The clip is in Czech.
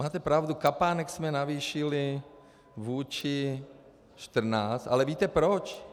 Máte pravdu, kapánek jsme navýšili vůči 2014, ale víte proč?